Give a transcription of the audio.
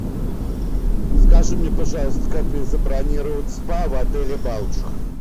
скажи мне пожалуйста как мне забронировать спа в отеле балтика